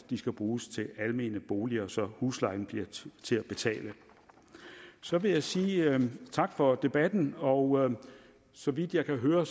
de skal bruges til almene boliger så huslejen bliver til at betale så vil jeg sige tak for debatten og så vidt jeg kan høre